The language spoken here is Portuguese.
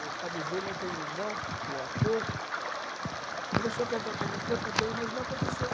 O Fábio Júnior tem um irmão que é ator, começou a cantar também, canta bem, mas não aconteceu.